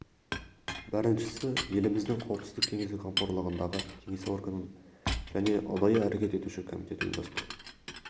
біріншісі еліміздің қауіпсіздік кеңесі қамқорлығындағы кеңес органын және ұдайы әрекет етуші комитет ұйымдастыру